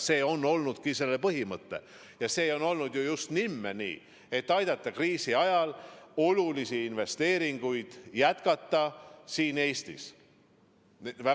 See on olnudki põhimõte, see on olnud just nimme nii, et aidata kriisi ajal kaasa, et olulisi investeeringuid saaks Eestis jätkata.